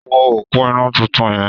Wo òpó iná tuntun yẹn!